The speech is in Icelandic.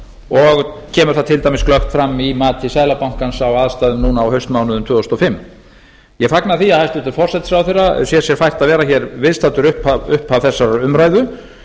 og kemur það til dæmis glöggt fram í mati seðlabankans á aðstæðum núna á haustmánuðum tvö þúsund og fimm ég fagna því að hæstvirtur forsætisráðherra sér sér fært að vera viðstaddur upphaf þessarar umræðu